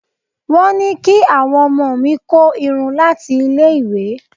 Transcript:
Wọ́n ní kí àwọn ọmọ mi kó irun láti ilé ìwé.